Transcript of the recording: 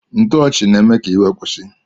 Ntoochi na eme ka iwe kwusi.